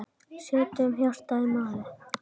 Setjum hjartað í málið.